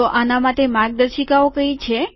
તો આના માટે માર્ગદર્શિકાઓ કઈ છે